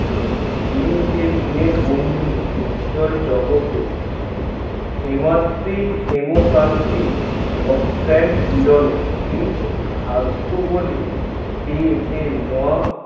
বন্ধু উজ্জ্বল জগতে হিমাদ্রীর কিন্তু ভাগ্য বলে